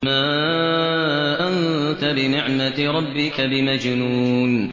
مَا أَنتَ بِنِعْمَةِ رَبِّكَ بِمَجْنُونٍ